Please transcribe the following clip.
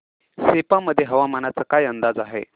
सेप्पा मध्ये हवामानाचा काय अंदाज आहे